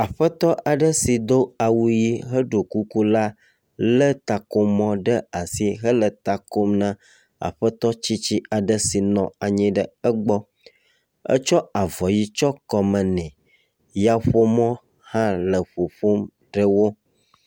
aƒetɔ aɖe si do awu ʋi heɖo kuku la le takomɔ ɖe asi hele t kom na aƒetɔ tsitsi aɖe si nɔ anyi ɖe egbɔ. Etsƒ avɔ ʋi tsɔ kɔme nɛ. Yaƒomɔ hã le ƒoƒom ɖe wo.